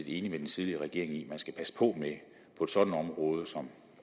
enig med den tidligere regering i at man skal passe på med at område som